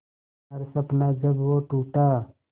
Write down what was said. हर सपना जब वो टूटा